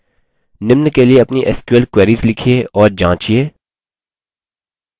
निम्न के लिए अपनी sql queries लिखिये और जाँचिये: